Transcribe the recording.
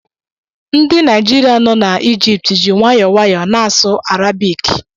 Ndị Naịjirịa nọ n'Ijipt ji nwayọọ nwayọọ na-asụ Arabiki